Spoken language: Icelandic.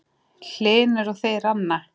Magnús Hlynur: Og þið, Ranna?